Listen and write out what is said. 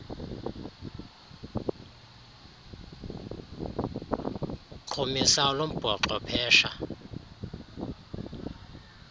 uqhumisa olumbhoxo phesha